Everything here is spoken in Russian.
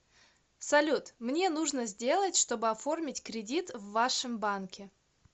салют мне нужно сделать чтобы оформить кредит в вашем банке